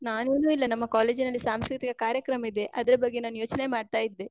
ನಾನ್ ಏನು ಇಲ್ಲ, ನಮ್ಮ college ನಲ್ಲಿ ಸಾಂಸ್ಕೃತಿಕ ಕಾರ್ಯಕ್ರಮ ಇದೆ. ಅದ್ರ ಬಗ್ಗೆ ನಾನ್ ಯೋಚ್ನೆ ಮಾಡ್ತಾ ಇದ್ದೆ.